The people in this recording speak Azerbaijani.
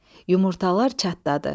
Yumurtalar çatladı.